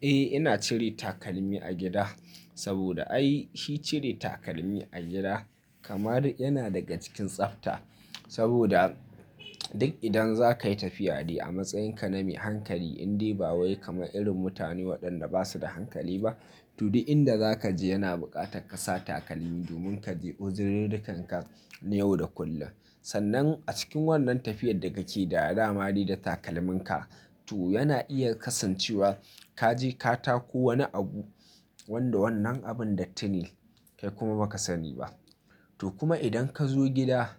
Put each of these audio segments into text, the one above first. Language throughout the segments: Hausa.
Eh ina cire takalmi a gida. Saboda ai shi cire takalmi a gida kamar yana daga cikin tsafta. Saboda duk idan za ka yi tafiya dai a matsayinka na mai hankali, indai ba wai kamar irin mutane waɗanda basu da hankali ba, to duk inda za ka je yana buƙatar ka sa takalmi domin ka je uzurirrikan ka na yau da kullum. Sannan a cikin wannan tafiyar da kake da dama dai da takalminka to yana iya kasancewa ka je ka tako wani abu wanda wannan abun datti ne kai kuma baka sani ba. To kuma idan ka zo gida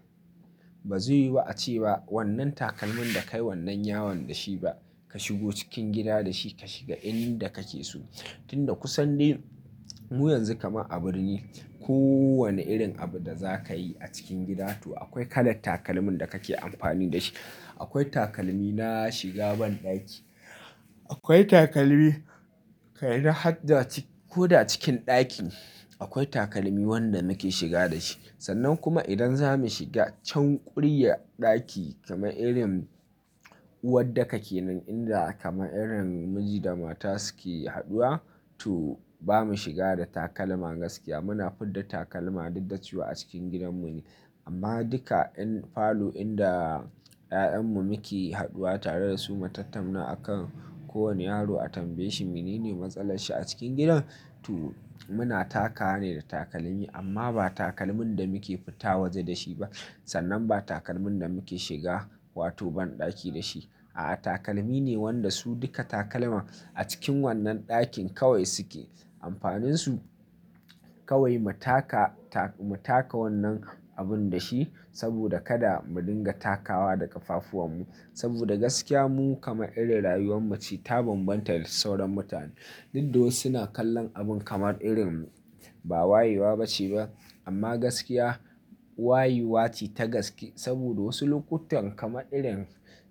ba zai yiwu ace ba wannan takalmin da kai wannan yawan da shi ba. Ka shigo cikin gida da shi ka shiga inda kake so. Tunda kusan dai mu yanzu kamar a birni kowane irin abu da za ka yi a cikin gida to akwai kalan takalmin da kake amfani da shi. Akwai takalmi na shiga banɗaki, akwai takalmi kai na hadda ko da cikin ɗaki akwai takalmi wanda muke shiga da shi. Sannan kuma idan za mu shiga can kuryar ɗaki kamar irin uwar daka kenan, inda kamar irin miji da mata suke haɗuwa to bamu shiga da takalma gaskiya. Muna fidda takalma da duk da cewa a cikin gidanmu ne. Amma duka in falo inda 'ya'yanmu muke haɗuwa tare da su matattamna akan kowane yaro a tambaye shi mene ne matsalar shi a cikin gidan to muna takawa ne da takalmi amma ba takalmin da muke fita waje da shi ba. Sannan ba takalmin da muke shiga wato banɗaki da shi. A'a takalmi ne wanda su duka takalman a cikin wannan ɗakin kawai suke. Amfaninsu kawai mu taka, mu taka wannan abun da shi saboda kada mu dinga takawa da ƙafafuwanmu. Saboda gaskiya mu kamar irin rayuwarmu ce ta bambanta da sauran mutane. Duk da wasu na kallon abun kamar irin ba wayewa ba ce ba, amma gaskiya wayewa ce ta gaske, saboda wasu lokutan kamar irin,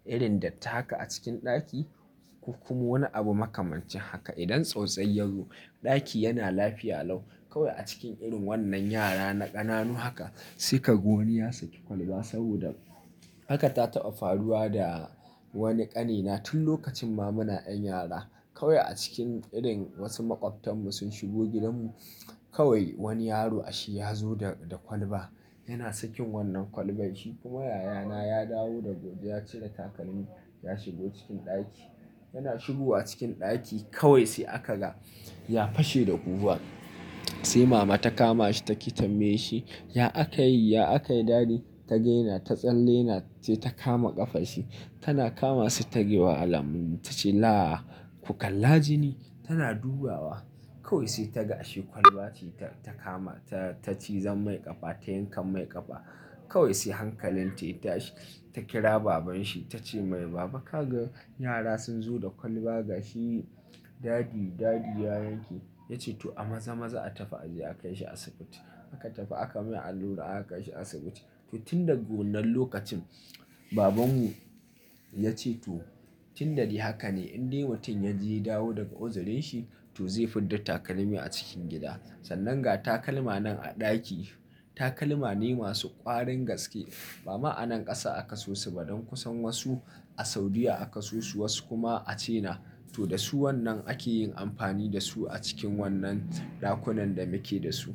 irin datti haka a cikin ɗaki ko kuma wani abu makamancin haka idan tsautsayi ya zo ɗaki yana lafiya lau kawai a cikin irin wannan yara na ƙananu haka sai ka ga wani ya saki kwalba saboda haka ta taɓa faluwa da wani ƙanina tun lokacin ma muna 'yan yara. Kawai a cikin irin wasu maƙwabtanmu sun shigo gidanmu kawai wani yaro a shi ya zo da, da kwalba. Yana sakin wannan kwalbar shi kuma yayana ya dawo daga waje ya cire takalmi ya shigo cikin ɗaki. Yana shigowa cikin ɗaki kawai sai aka ga ya fashe da kuka. Sai mama ta kama shi ta ke tambayar shi, "Ya aka yi? Ya aka yi dadi?" Ta ga yana ta tsalle yana, sai ta kama ƙafarshi. Tana kama shi ta yi wa alamun ta ce, "Laa! Ku kalla jini." Tana dubawa kawai sai ta ga ashe kwalba ce ta kama ta cizon mai ƙafa ta yankan mai ƙafa. Kawai sai hankalinta ya tashi ta kira babanshi ta ce mai, "Baba kaga yara sun zo da kwalba ga shi dadi, dadi ya yanke." Ya ce to a maza-maza a tafi a je aka kai shi asibiti. Aka tafi aka mai allura aka kai shi asibiti. To tun daga wannan lokacin babanmu ya ce to tun da dai haka ne in dai mutum ya je ya dawo daga uzurin shi to zai fidda takalmi a cikin gida. Sannan ga takalma nan a ɗaki takalma ne masu ƙwarin gaske. Ba ma a nan ƙasa aka suyo su ba don kusan wasu a Saudiya aka suyo su wasu kuma a China. To da su wannan ake yin amfani da su a cikin wannan ɗakunan da muke da su.